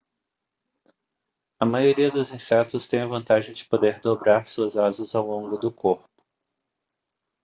a maioria dos insetos têm a vantagem de poder dobrar suas asas ao longo do corpo